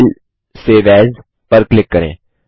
file save as पर click करें